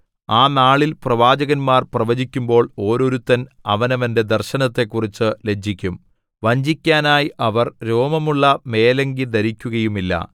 ആ നാളിൽ പ്രവാചകന്മാർ പ്രവചിക്കുമ്പോൾ ഓരോരുത്തൻ അവനവന്റെ ദർശനത്തെക്കുറിച്ച് ലജ്ജിക്കും വഞ്ചിക്കാനായി അവർ രോമമുള്ള മേലങ്കി ധരിക്കുകയുമില്ല